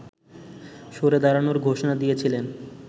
সরে দাড়ানোর ঘোষনা দিয়েছিলেন